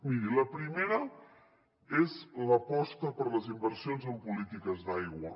mirin la primera és l’aposta per les inversions en polítiques d’aigua